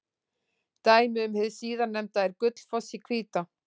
Dæmi um hið síðarnefnda er Gullfoss í Hvítá.